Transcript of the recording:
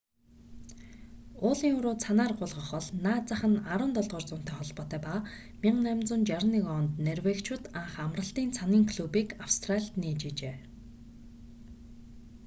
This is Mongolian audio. уулын уруу цанаар гулгах бол наад зах нь 17-р зуунтай холбоотой ба 1861 онд норвегичууд анх амралтын цанын клубыг австралид нээж байжээ